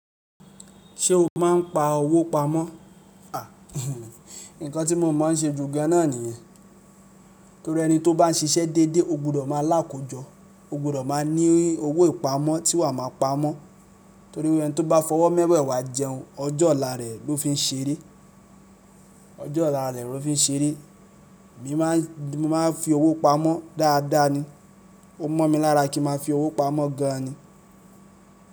Ṣé o máa ń pa owó pamọ́? À, nǹkan tí mo mọ̀ hán ṣe ju gan náà nìyẹn. Torí ẹni tó bá ń ṣiṣẹ́ déédéé, o gbọdọ̀ máa lákóòjọ, o gbọdọ̀ máa ní owó ìpamọ́ tí wà á máa pamọ́. Torí wí ẹni tí ó bá fọwọ́ mẹ́wẹ̀ẹ̀wá jẹun, ọjọ́ ọ̀la rẹ̀ ló fi ń ṣeré, ọjọ́ ọ̀la rẹ̀ ló fi ń ṣeré. Èmi máa ń fi owó pamọ́ dáadáa ni. Ó mọ̀ mi lára kí ń máa fi owó pamọ́ gan ni.